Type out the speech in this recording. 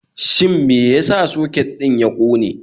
Shin me ya sa soket ɗin ya ƙone.?